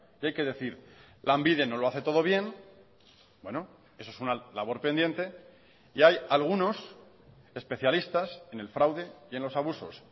y hay que decir lanbide no lo hace todo bien eso es una labor pendiente y hay algunos especialistas en el fraude y en los abusos